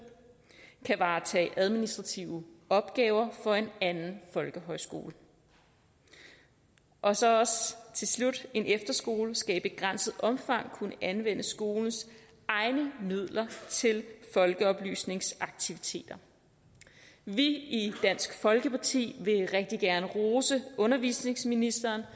kan varetage administrative opgaver for en anden folkehøjskole og så også til slut en efterskole skal i begrænset omfang kunne anvende skolens egne midler til folkeoplysningsaktiviteter vi i dansk folkeparti vil rigtig gerne rose undervisningsministeren